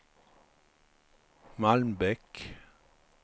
Malmbäck